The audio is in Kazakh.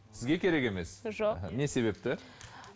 сізге керек емес жоқ не себепті